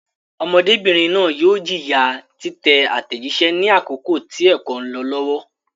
Ọmọdébìnrin náà yóò jìyà títẹ àtẹ̀jíṣẹ́ ní àkókò tí ẹ̀kọ́ ń lọ lọ́wọ́.